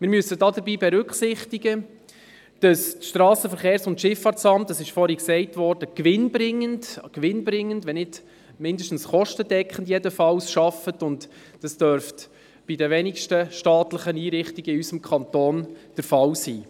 Wir müssen dabei berücksichtigen, dass das SVSA, wie vorhin gesagt worden ist, gewinnbringend, zumindest kostendeckend arbeitet, und das dürfte bei den wenigsten staatlichen Einrichtungen unseres Kantons der Fall sein.